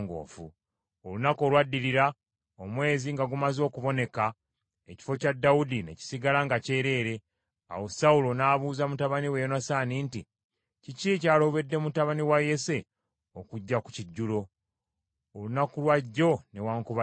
Olunaku olwaddirira, omwezi nga gumaze okuboneka, ekifo kya Dawudi ne kisigala nga kyereere. Awo Sawulo n’abuuza mutabani we Yonasaani nti, “Kiki ekyalobedde mutabani wa Yese okujja ku kijjulo, olunaku lwa jjo newaakubadde leero?”